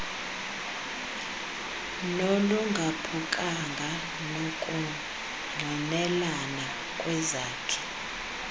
nolungaphukanga nokungqinelana kwezakhi